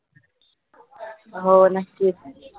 हो नकीच